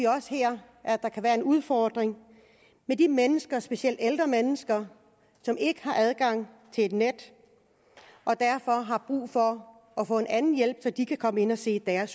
også her kan være en udfordring med de mennesker specielt ældre mennesker som ikke har adgang til et net og derfor har brug for at få en anden hjælp så de kan komme ind og se deres